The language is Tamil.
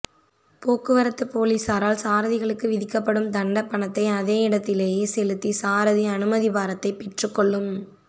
போக்குவரத்துப் பொலிஸாரால் சாரதிகளுக்கு விதிக்கப்படும் தண்டப்பணத்தை அதே இடத்திலேயே செலுத்தி சாரதி அனுமதிப் பத்திரத்தை பெற்றுக்கொள்ளும்